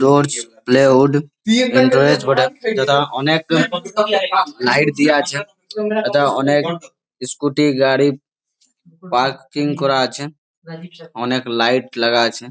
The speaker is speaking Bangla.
টর্চ প্লেউড অনেক লাইট দেয়া আছে। অনেক স্ক্যুটি গাড়ি পার্কিং করা আছে। অনেক লাইট লাগা আছে।